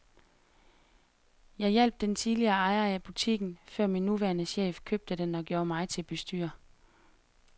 Jeg hjalp den tidligere ejer af butikken, før min nuværende chef købte den og gjorde mig til bestyrer.